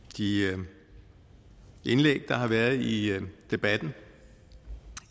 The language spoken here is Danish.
de indlæg der har været i debatten